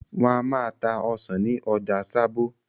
Wọ́n máa ń ta ọsàn ní ọjà Sábó.